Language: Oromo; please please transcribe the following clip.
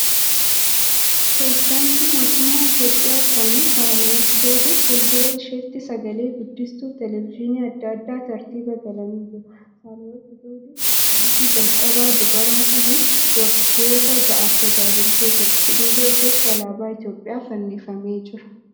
Pireezidaantii mootummaa Itiyoophiyaa duraanii Saahilawarqi Zawudee . Fuuldura isheetti sagale guddistuun Televejiinii adda addaa tartiiba galanii jira. Saahilawarqi Zawudee pireezidaantii jalqabaa dubaraa tahuun waggoota ja'aaf tajaajiltee jirte. Duuba isheetti alaabaa Itiyoophiyaa fannifamee jira.